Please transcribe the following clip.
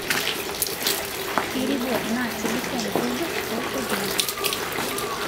перевод на телефон друга сто рублей